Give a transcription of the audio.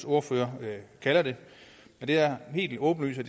ordfører kalder det det er helt åbenlyst at